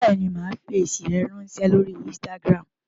Bẹ́ẹ̀ni, màá fi èsì rẹ ráńṣẹ́ lórí Instagram.